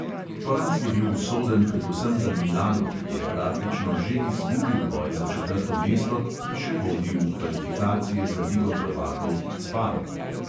Poraz je bil usoden predvsem za milano, ki je praktično že izgubil boj za četrto mesto, ki še vodi v kvalifikacije za ligo prvakov, s parmo.